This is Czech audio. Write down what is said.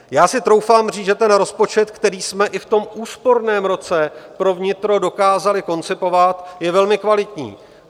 Já si troufám říct, že ten rozpočet, který jsme i v tom úsporném roce pro vnitro dokázali koncipovat, je velmi kvalitní.